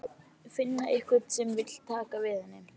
Finna einhvern sem vill taka við henni.